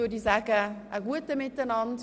Ich wünsche Ihnen einen guten Appetit.